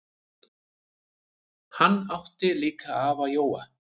Hann átti líka afa Jóa.